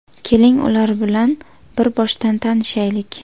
Keling, ular bilan bir boshdan tanishaylik.